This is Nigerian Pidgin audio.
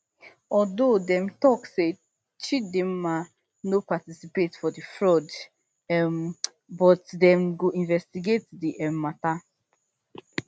although dem tok say chidimma no participate for di fraud um but dem go investigate di um matter